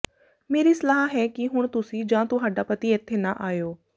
ਮੇਰੀ ਸਲਾਹ ਹੈ ਕਿ ਹੁਣ ਤੁਸੀਂ ਜਾਂ ਤੁਹਾਡਾ ਪਤੀ ਇੱਥੇ ਨਾ ਆਇਉ